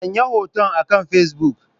Sanya hotunan akan Facebook.